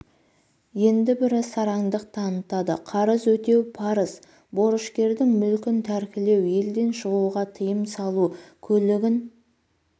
енді бірі сараңдық танытады қарыз өтеу парыз борышкердің мүлкін тәркілеу елден шығуға тыйым салу көлігін